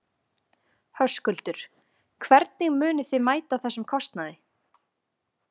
Höskuldur: Hvernig munið þið mæta þessum kostnaði?